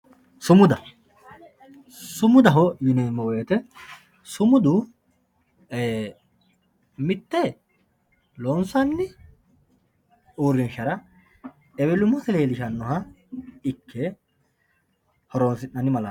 sumuda sumudaho yineemmo woyte sumudu mitte loonsanni uurinshara ewelummasi lellishshannoha ikke horoonsi'nanni malaateti